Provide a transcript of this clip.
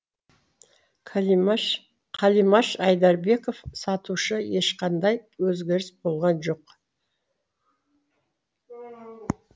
қалимаш айдарбеков сатушы ешқандай өзгеріс болған жоқ